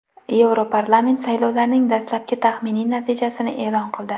Yevroparlament saylovlarning dastlabki taxminiy natijasini e’lon qildi.